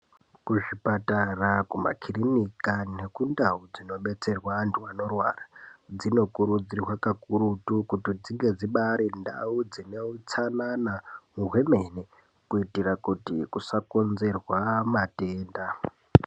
Kuzvibhedhlera, kumakiriniki, nekundau dzinobetserwa antu, anorwara, dzinokurudzirwa kakurutu kuti dzive ndau dziribaari neutsanana hwemene, kuitira kuti kusakonzerwe matenda.